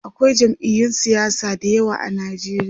akwai jam'iyun siyasa da yawa a Nigeria